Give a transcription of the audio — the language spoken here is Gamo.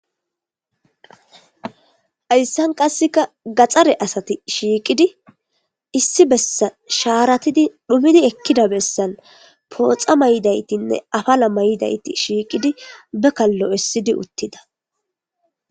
Haysan qase gaxare asati shiiqidi issi bessan shaaratidi dhumidi elida bessan pooxa mayidaytine apala mayidayti shiiqidi be kallo essidi uttida.